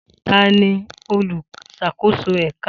Ta ni oluṣakoso ẹka?